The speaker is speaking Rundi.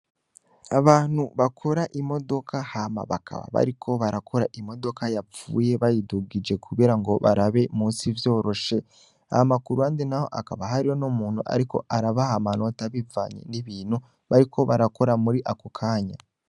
Abantu bakora imodoka hama bakaba bariko barakora imodoka yapfuye bayidugije kubera ngo barabe musi vyoroshe, hama makuru andi na ho akaba hariho no muntu, ariko arabaha amanota bivanye n'ibintu bariko barakora muri ako kanya.